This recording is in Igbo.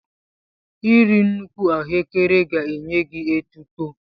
Iri nnukwu ahụekere ga-enye gị etuto.